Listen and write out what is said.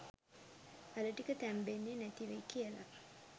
අල ටික තැම්බෙන්නෙ නැති වෙයි කියලා.